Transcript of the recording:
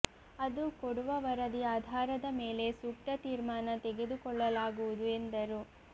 ಅದು ಕೊಡುವ ವರದಿ ಆಧಾರದ ಮೇಲೆ ಸೂಕ್ತ ತೀರ್ಮಾನ ತೆಗೆದುಕೊಳ್ಳಲಾಗುವುದು ಎಂದರು